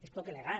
és poc elegant